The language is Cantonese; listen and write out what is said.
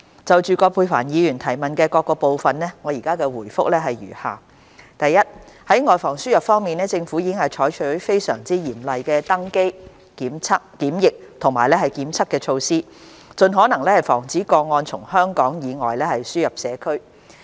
就葛珮帆議員質詢的各部分，我現答覆如下：一在"外防輸入"方面，政府已採取非常嚴謹的登機、檢疫及檢測措施，盡可能防止個案從香港以外輸入社區。